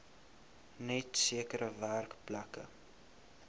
net sekere werkplekke